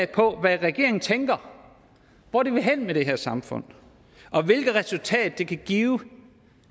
på hvad regeringen tænker hvor den vil hen med det her samfund og hvilket resultat det kan give